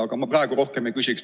Aga ma praegu rohkem ei küsigi.